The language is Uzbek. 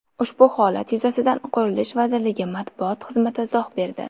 Ushbu holat yuzasidan Qurilish vazirligi matbuot xizmati izoh berdi .